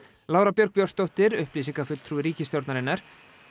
Lára Björg Björnsdóttir upplýsingafulltrúi ríkisstjórnarinnar